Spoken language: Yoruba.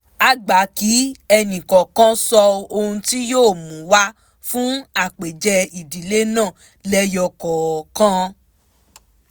a gbà kí ẹnì kọ̀ọ̀kan sọ ohun tí yóò mú wa fún àpèjẹ ìdílé náà lẹ́yọ̀ kọ̀ọ̀kan